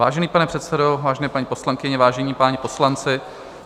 Vážený pane předsedo, vážené paní poslankyně, vážení páni poslanci.